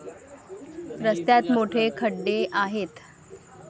रस्त्यांत मोठे खड्डे आहेत.